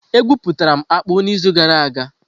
E guputara m akpu n'izu gara aga.